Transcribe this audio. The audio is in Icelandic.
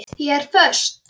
Ég er föst.